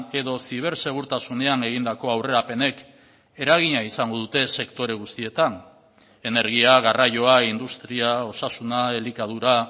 edo zibersegurtasunean egindako aurrerapenek eragina izango dute sektore guztietan energia garraioa industria osasuna elikadura